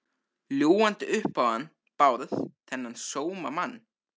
Ljúgandi upp á hann Bárð, þennan sómamann.